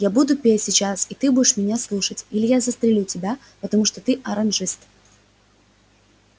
я буду петь сейчас и ты будешь меня слушать или я застрелю тебя потому что ты оранжист